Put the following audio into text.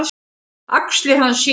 Axlir hans síga.